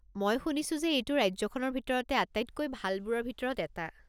মই শুনিছো যে এইটো ৰাজ্যখনৰ ভিতৰতে আটাইতকৈ ভালবোৰৰ ভিতৰত এটা।